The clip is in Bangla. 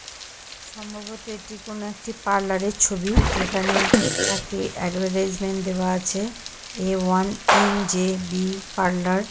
সম্ভবত এটি কোনো একটি পার্লার -এর ছবি যেখানে একটি অ্যাডভেটাইজমেন্ট দেওয়া আছে A. One .N .J B. Parlour.